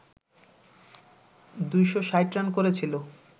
২৬০ run করেছিল